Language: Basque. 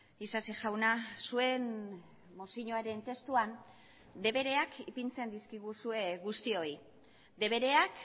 isasi jauna zuen mozioaren testuan debereak ipintzen dizkiguzue guztioi debereak